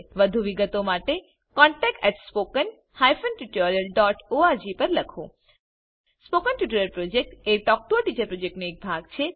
વધુ વિગતો માટે contactspoken tutorialorg પર લખો spoken tutorial project talk to a teacher પ્રોજેક્ટનો એક ભાગ છે